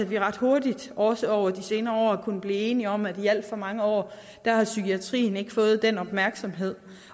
vi ret hurtigt også over de senere år har kunnet blive enige om at i alt for mange år har psykiatrien ikke fået den opmærksomhed